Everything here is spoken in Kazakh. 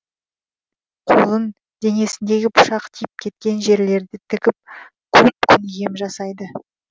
қолын денесіндегі пышақ тиіп кеткен жерлерді тігіп көп күн ем жасайды